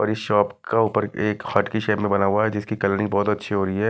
बड़ी शॉप का ऊपर एक हाट की शॉप में बना हुआ है जिसकी कलरिंग बहोत अच्छी हो रही है।